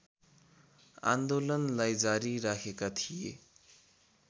आन्दोलनलाई जारी राखेका थिए